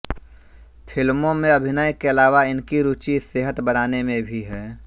फिल्मों में अभिनय के अलावा इनकी रुचि सेहत बनाने में भी है